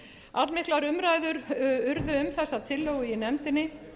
allmiklar umræður urðu um þessa tillögu í nefndinni